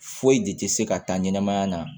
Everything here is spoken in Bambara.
Foyi de tɛ se ka taa ɲɛnɛmaya la